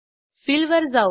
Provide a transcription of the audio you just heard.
fill वर जाऊ